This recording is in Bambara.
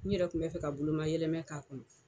N yɛrɛ tun bɛ fɛ ka bolo ma yɛlɛmɛ k'a kɔnɔ.